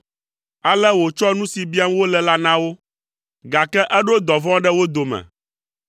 Ale wòtsɔ nu si biam wole la na wo, gake eɖo dɔvɔ̃ ɖe wo dome.